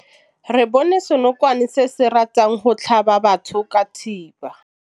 Re bone senokwane se se ratang go tlhaba batho ka thipa.